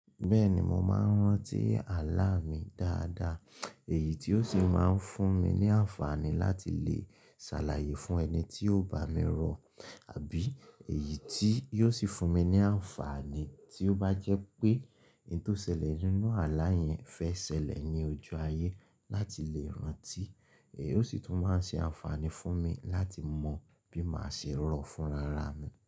Bẹ́ẹ̀ni, mo máa ń rántí àlá mi dáadáa èyí tí ó sì máa ń fún mi ní àǹfààní láti lè ṣàlàyé fún ẹni tí ó bá mi rò àbí èyí tí yóò sì fún mi ní àǹfààní tí ó bá jẹ́ pé ohun tó ṣẹlẹ̀ nínú àlá yẹn fẹ́ ṣẹlẹ̀ ní ojú ayé láti lè rántí. Èyí ó sì tún máa ṣe àǹfààní fún mi láti mọ bí màá ṣe rò fún rara mi.